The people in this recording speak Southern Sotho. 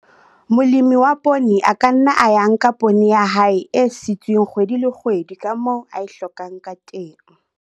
Molemi wa poone a ka nna a ya nka poone ya hae e sitsweng kgwedi le kgwedi ka moo a e hlokang ka teng.